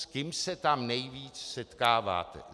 S kým se tam nejvíc setkáváte?